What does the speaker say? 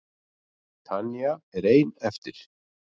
Tanya er ein eftir.